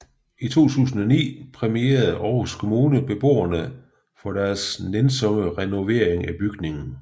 I 2009 præmierede Aarhus Kommune beboerne for deres nænsomme renovering af bygningen